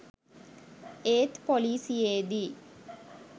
ඒත් පොලිසියේදී